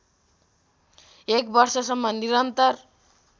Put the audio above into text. एक वर्षसम्म निरन्तर